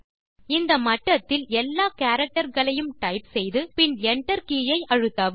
இந்த மட்டத்தில் எல்லா கேரக்டர் களையும் டைப் செய்து பின் Enter கே ஐ அழுத்தவும்